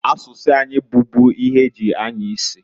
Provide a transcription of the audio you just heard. Asụsụ anyị bubu ihe eji anya isi.